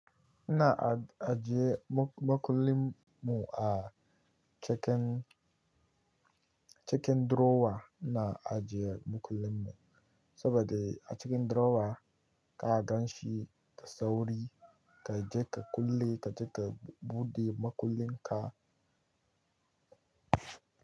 Ina ajiye makullin mu a cikin, cikin drawer ina ajiye makullin mu saboda a cikin drawer ka gan shi da sauri, ka je ka kulle, ka je ka buɗe makullin ka.